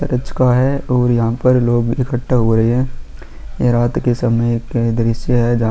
church का है और यहाँ पर लोग इकट्ठा हो रहे हैं ये रात के समय के दृश्य है जहाँ--